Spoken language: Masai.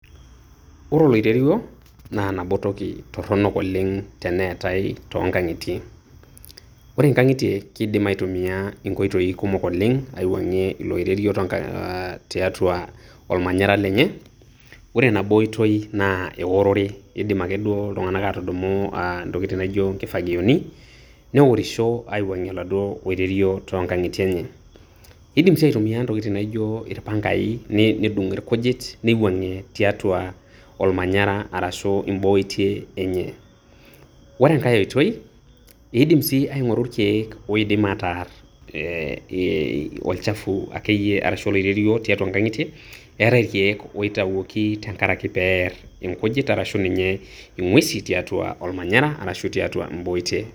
Ore oloirerio, naa nabo toki toronok oleng' teneetai toonkang'itie. Ore nkang'itie keidim aitumia nkoitoi kumok oleng' aiwuang'ie ilo oirerio toonk aah tiatua olmanyara lenye, ore nabo oitoi naa eworore, eidim ake duo iltung'anak aatudumu aah ntokitin naijo nkifagioni neworisho aiwuang'ie oladuo oirerio toonkang'itie enye. Eidim sii aitumia ntokitin naijo irpangai nedung' ilkujit neiwuang'ie tiatua olmanyara arashu imboitie enye. Ore enkae oitoi, eidim sii aing'oru ilkeek oidim ataarr eeh olchafu akeyie arashu oloirerio tiatua nkang'itie, eetai ilkeek oitawuoki tenkarake peerr inkujit arashu ninye ing'uesi tiatua olmanyara arashu tiatua imbooitie.